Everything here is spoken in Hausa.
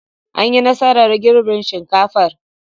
An yi nasarar girbin shinkafar.